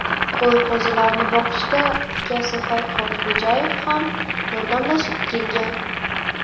Qo‘y-qo‘zilarni boqishda ukasi Farhod Xo‘jayev ham yordamlashib kelgan.